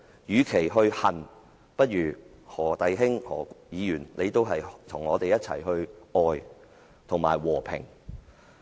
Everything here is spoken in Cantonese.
與其去恨，不如何弟兄與我們一同去愛及締造和平。